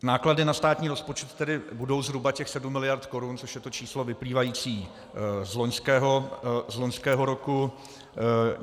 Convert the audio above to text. Náklady na státní rozpočet tedy budou zhruba těch 7 miliard korun, což je to číslo vyplývající z loňského roku.